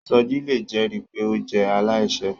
Soji le jẹri pe o jẹ alaiṣẹ